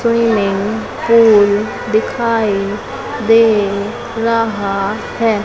Swimming pool दिखाई दे रहा है।